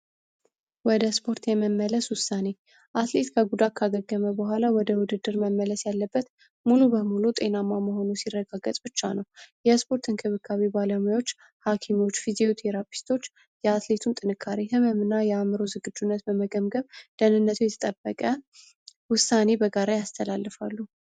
ወደ ስፖርት የመመለስ ውሳኔ አትሌት በጉዳት አገልግሎ በኋላ ወደ ውድድር መመለስ ያለበት ሙሉ በሙሉ ጤናማ መሆኑ ሲረጋገጥ ብቻ ነው። ያስፖርት እንክብካቤ ባለሙያዎች ሐኪሞች የአትሌቱ ጥንካሬው ዝግጁነት በመገምገም ደህንነት ይጠበቀ ውሳኔ በጋራ ያስተላልፋሉ።